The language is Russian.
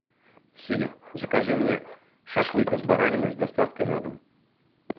сири закажи мне шашлык из баранины с доставкой на дом